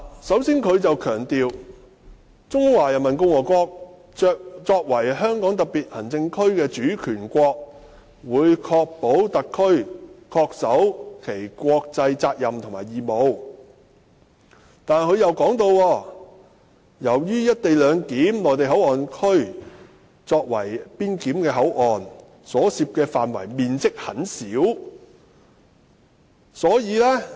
首先，政府強調"中華人民共和國作為香港特區的主權國，會確保特區政府恪守其國際責任和義務"，但又表示，由於'內地口岸區'作為邊檢口岸......所涉範圍面積很小......